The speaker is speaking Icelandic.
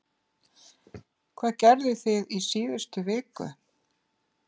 Hvað gerðuð þið í síðustu viku?